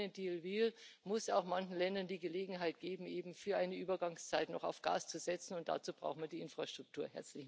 Wer den Grünen Deal will, muss auch manchen Ländern die Gelegenheit geben, eben für eine Übergangszeit noch auf Gas zu setzen, und dazu brauchen wir die Infrastruktur.